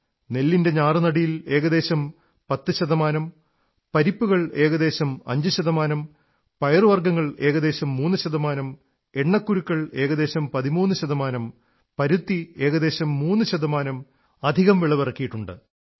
നെല്ലിന്റെ ഞാറുനടീൽ ഏകദേശം 10 ശതമാനം പരിപ്പുകൾ ഏകദേശം 5 ശതമാനം പയറുവർഗ്ഗങ്ങൾ ഏകദേശം 3 ശതമാനം എണ്ണക്കുരുക്കൾ ഏകദേശം 13 ശതമാനം പരുത്തി ഏകദേശം 3 ശതമാനം അധികം വിളവിറക്കിയിട്ടുണ്ട്